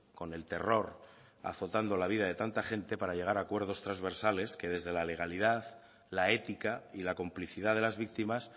con el terror azotando la vida de tanta gente para llegar a acuerdos transversales que desde la legalidad la ética y la complicidad de las víctimas